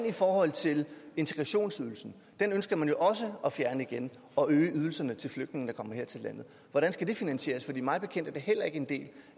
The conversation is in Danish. i forhold til integrationsydelsen den ønsker man jo også at fjerne igen og øge ydelserne til flygtninge der kommer her til landet hvordan skal det finansieres for mig bekendt er det heller ikke en del